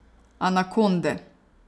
Anakonde.